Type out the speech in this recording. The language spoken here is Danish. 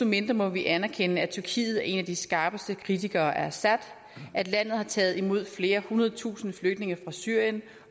mindre må vi anerkende at tyrkiet er en af de skarpeste kritikere af assad at landet har taget imod flere hundrede tusinde flygtninge fra syrien